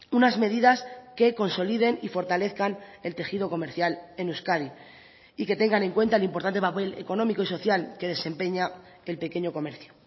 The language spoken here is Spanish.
unas medidas que consoliden y fortalezcan el tejido comercial en euskadi y que tengan en cuenta el importante papel económico y social que desempeña el pequeño comercio